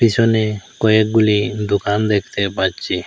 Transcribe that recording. পেছনে কয়েকগুলি দোকান দেখতে পাচ্ছি।